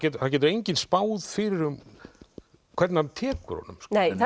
það getur enginn spáð fyrir um hvernig hann tekur honum